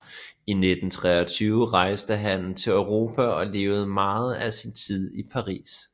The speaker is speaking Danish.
I 1923 rejste han til Europa og levede meget af sin tid i Paris